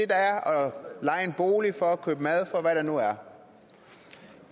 leje en bolig for købe mad for og hvad der nu er